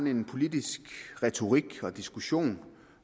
en politisk retorik og diskussion